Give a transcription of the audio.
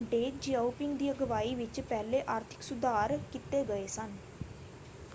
ਡੇਂਗ Xiaoping ਦੀ ਅਗਵਾਈ ਵਿੱਚ ਪਹਿਲੇ ਆਰਥਿਕ ਸੁਧਾਰ ਕੀਤੇ ਗਏ ਸਨ।